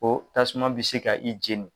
Ko tasuma bɛ se ka i jeni.